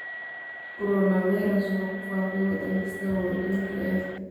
Coronavirus wuxuu ku faafay waddan kasta oo adduunka ah.